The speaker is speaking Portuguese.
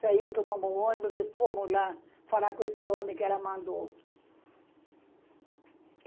Saímos, tomamos um ônibus e fomos lá falar com esse homem que ela mandou.